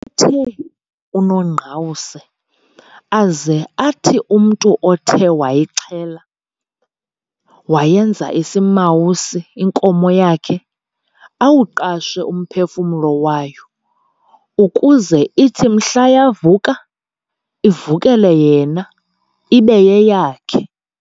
Wayethe uNongqawuse aze athi umntu othe wayixhela, wayenza isimawusi inkomo yakhe, awuqashe umphefumlo wayo, ukuze ithi mhla yavuka ivukele yena, ibe yeyakhe.